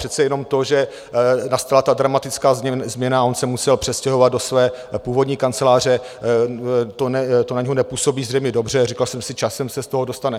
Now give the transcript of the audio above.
Přece jenom to, že nastala ta dramatická změna a on se musel přestěhovat do své původní kanceláře, to na něho nepůsobí zřejmě dobře, říkal jsem si, časem se z toho dostane.